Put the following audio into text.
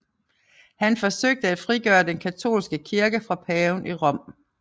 Han forsøgte at frigøre den katolske kirke fra paven i Rom